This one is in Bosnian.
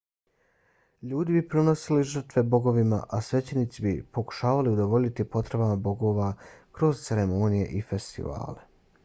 ljudi bi prinosili žrtve bogovima a svećenici bi pokušavali udovoljiti potrebama bogova kroz ceremonije i festivale